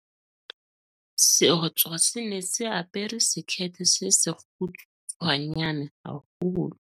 seotswa se ne se apere sekhethe se sekgutshwanyane haholo